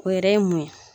O yɛrɛ ye mun ye